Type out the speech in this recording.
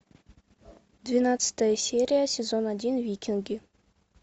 двенадцатая серия сезон один викинги